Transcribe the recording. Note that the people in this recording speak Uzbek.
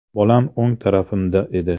Bolam o‘ng tarafimda edi.